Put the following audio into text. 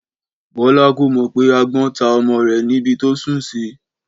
Bọ́lá kò mọ̀ pé agbọ́n ta ọmọ rẹ̀ ní ibi tó sùn sí